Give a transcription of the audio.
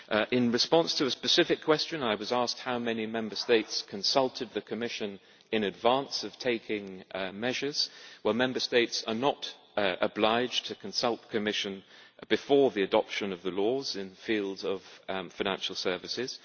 In response to a specific question, I was asked how many Member States consulted the Commission in advance of taking measures, well Member States are not obliged to consult the Commission before the adoption of the laws in fields of financial services.